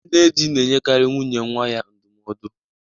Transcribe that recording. Nne di na-enyekarị nwunye nwa ya ndụmọdụ.